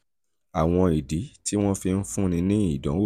um àwọn ìdí tí um wọ́n fi ń fúnni ní ìdánwò